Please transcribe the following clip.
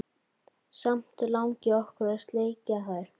Samt langi okkur að sleikja þær.